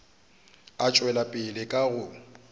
a tšwela pele ka go